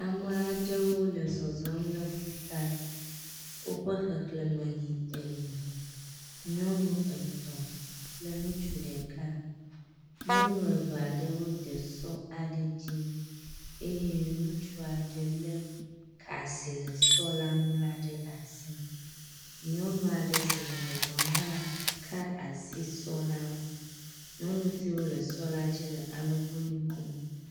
Ame aɖewo le zɔzɔm le ƒuta. Woƒe xexleme yi ene. Nyɔnu etɔ̃ kple ŋutsu ɖeka. Nyɔnu eve aɖewo de sɔ aɖe dzi eye ŋutsu aɖe le ka si le sɔ la ŋu la ɖe asi. Nyɔnu aɖe si le zɔzɔm hã ka asi sɔ la ŋu. nyɔnu siwo le sɔ la dzi le alɔgbɔnu kom.